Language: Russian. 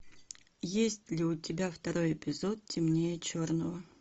есть ли у тебя второй эпизод темнее черного